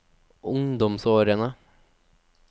ungdomsårene